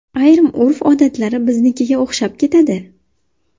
Ayrim urf-odatlari biznikiga o‘xshab ketadi.